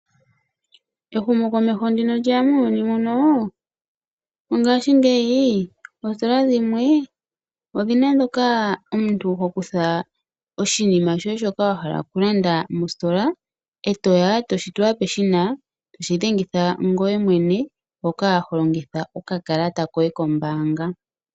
Ehumokomeho ndi lyeya muuyuni muno ngaashingeyi oositola dhimwe odhina mpoka omuntu ho kutha oshinima shoye shaka wa hala oku landa mositola . Etoya eto shifala peshina etoshi dhengitha ngoye mwene mpoka holongitha oka kalata koye kombaanga.